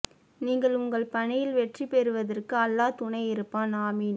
நீங்கள் உங்கள் பணியில் வெற்றி பெறுவதற்கு அல்லா துணை இருப்பான் ஆமீன்